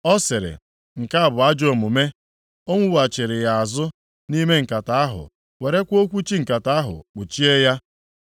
Ọ sịrị, “Nke a bụ ajọ omume.” O nughachiri ya azụ nʼime nkata ahụ werekwa okwuchi nkata ahụ kpuchie ya.